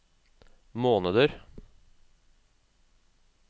måneder